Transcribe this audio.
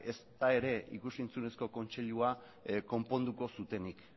ezta ere ikus entzunezko kontseiluak konponduko zutenik